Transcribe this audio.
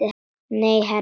Nei, herra